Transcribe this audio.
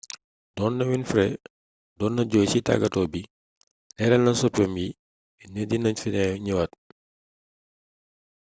doonté winfrey doon na jooy ci tàggato bi léralna soppéem yi ni dina ñëwaat